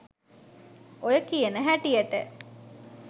ඔය කියන හැටියට